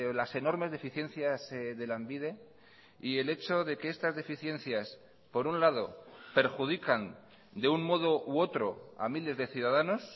las enormes deficiencias de lanbide y el hecho de que estas deficiencias por un lado perjudican de un modo u otro a miles de ciudadanos